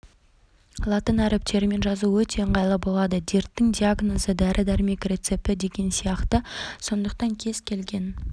латын әріптерімен жазу өте ыңғайлы болады дерттің диагнозы дәрі-дәрмек рецепті деген сияқты сондықтан кез келген